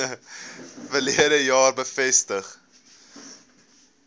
verlede jaar bevestig